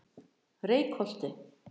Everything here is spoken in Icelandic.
Reykholti